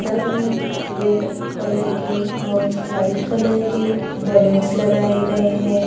दग में red colour के और व्हाइट कलर के बलूंस लगाए गए हैं।